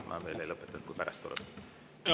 Ma veel ei lõpeta, kui pärast tuleb küsimusi.